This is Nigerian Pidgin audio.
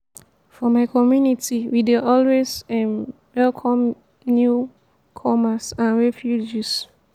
for my community we dey always um welcome new-comers and refugees.